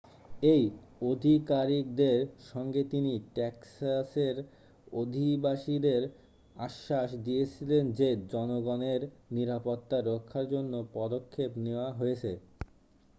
এই আধিকারিকদের সঙ্গে তিনি টেক্সাসের অধিবাসীদের আশ্বাস দিয়েছিলেন যে জনগণের নিরাপত্তা রক্ষার জন্য পদক্ষেপ নেওয়া হয়েছে